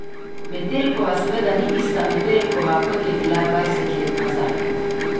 Metelkova seveda ni ista Metelkova, kot je bila dvajset let nazaj.